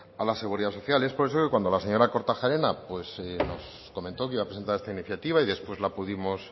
a la seguridad social es por eso que cuando la señora kortajarena pues nos comentó que iba a presentar esta iniciativa y después la pudimos